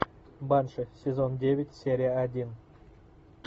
банши сезон девять серия один